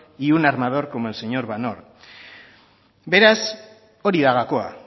y un armador con el señor van oord beraz hori da gakoa